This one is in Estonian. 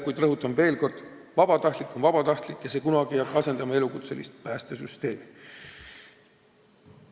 Kuid rõhutan veel kord: vabatahtlik on vabatahtlik ja see süsteem ei hakka kunagi asendama elukutselistele tuginevat päästesüsteemi.